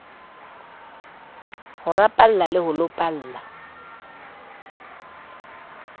ho rapalla le ho lopalla